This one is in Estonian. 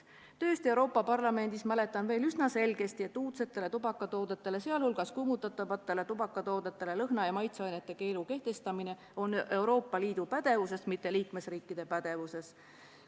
Töötamise ajast Euroopa Parlamendis mäletan veel üsna selgesti, et uudsetele tubakatoodetele, sh kuumutatavatele tubakatoodetele lõhna- ja maitseainete keelu kehtestamine on Euroopa Liidu pädevuses, mitte liikmesriikide pädevuses.